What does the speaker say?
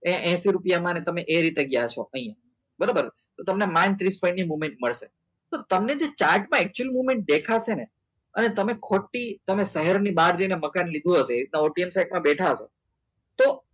એ હેસિ રૂપિયામાં એ જ તમે રીતના ગયા છો ત્યાં બરાબર તો તમને માંડ ત્રીસ point નું movement પડશે તો તમને જે ચાટમાં achievement દેખાશે ને અને તમે ખોટી તમે શહેરની બહાર જઈને મકાન લીધું હશે એકવાર બેઠા હશે તો બોલો આપણે